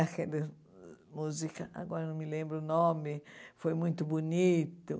Aquelas músicas, agora não me lembro o nome, foi muito bonito.